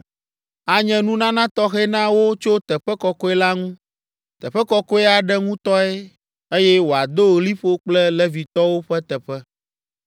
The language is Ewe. Anye nunana tɔxɛ na wo tso teƒe kɔkɔe la ŋu, teƒe kɔkɔe aɖe ŋutɔe, eye wòado liƒo kple Levitɔwo ƒe teƒe.